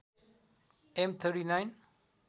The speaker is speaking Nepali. एम ३९